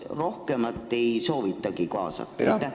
Kas rohkem omavalitsusi ei soovitagi kaasata?